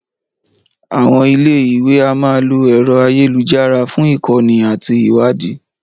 Àwọn ilé ìwé a máa lo ẹ̀rọ ayélujára fún ìkọ́ni àti ìwádìí